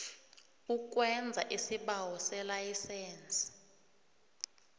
ukwenza isibawo selayisense